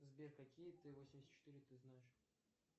сбер какие т восемьдесят четыре ты знаешь